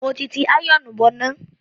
Mo ti ti àyọ̀ọ̀nù bọná.